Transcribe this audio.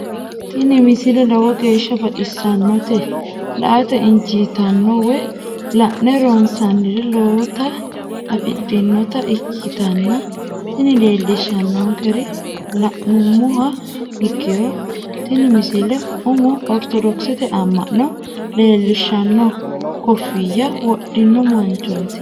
tini misile lowo geeshsha baxissannote la"ate injiitanno woy la'ne ronsannire lowote afidhinota ikkitanna tini leellishshannonkeri la'nummoha ikkiro tini misile umoho ortodokisete amma'no leellishanno koffiyya wodhino manchooti.